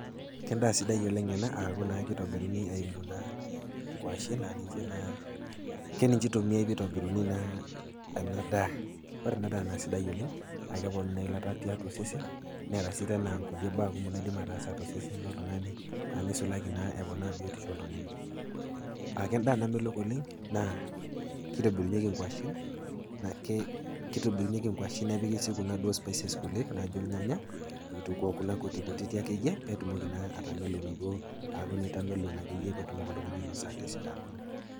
Ke endaa sidai oleng' ena aaku keitobiruni eimu naa inkwashen, naa ninche naa keninche eitummiayai naa ena daa. Ore ena daa naa sidai oleng', a,u keponuu naa eilata tiatua osesen, neata sii teena ikulie baa naidim ataasa tosesen loltung'ani neisulaki naaa eponaa biotisho oltung'ani. Aake endaa namelok oleng', naa keitobirunyeki inkwashen nepika naa duo kuna spices kulie naijo ilnyanya kuna kutikutik ake siiyie naijo eitamelon naakeyie pee eitamelon peitoki naake siiyie asidanu.